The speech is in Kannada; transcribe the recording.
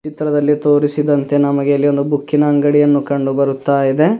ಚಿತ್ರದಲ್ಲಿ ತೋರಿಸಿದಂತೆ ನಮಗೆ ಇಲ್ಲಿ ಒಂದು ಬುಕ್ಕಿ ನ ಅಂಗಡಿ ಅನ್ನು ಕಂಡು ಬರುತ್ತಾ ಇದೆ.